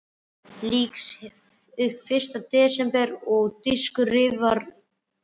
Lýk upp fyrsta desember svo dúskur rifnar af húfu.